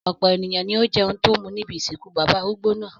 Ọ̀pọ̀ ènìyàn ni ó jẹun tó mú níbi ìsìnkú bàbá arúgbó náà.